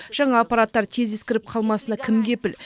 жаңа аппараттар тез ескіріп қалмасына кім кепіл